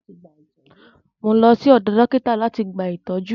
Mò ń lọ sí ọ̀dọ dọ́kítà láti gba ìtọ́jú.